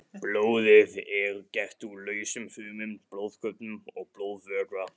Blóðið er gert úr lausum frumum, blóðkornum og blóðvökva.